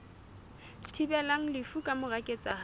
thibelang lefu ka mora ketsahalo